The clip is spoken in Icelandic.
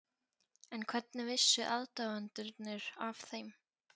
En hvernig vissu aðdáendurnir af þeim?